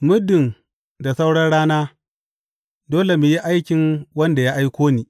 Muddin da sauran rana, dole mu yi aikin wanda ya aiko ni.